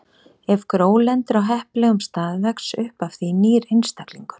Ef gró lendir á heppilegum stað vex upp af því nýr einstaklingur.